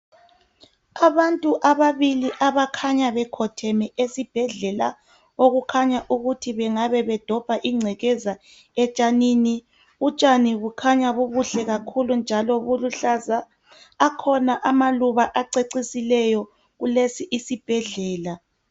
Abantu ababili abakhanya bekhotheme esibhedlela okukhanya ukuthi bengabe bedobha ingcekeza etshanini utshani bukhanya bubuhle kakhulu njalo buluhlaza akhona amaluba acecisileyo kulesi isibhedlela.